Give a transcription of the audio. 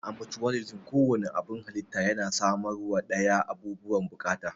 A mucuwalisim, ko wanne abun halitta yana samarwa dayan abubuwan bukata.